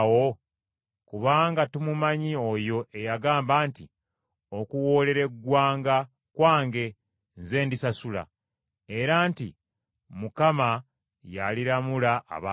Kubanga tumumanyi oyo eyagamba nti, “Okuwoolera eggwanga kwange. Nze ndisasula.” Era nti, “Mukama y’aliramula abantu be.”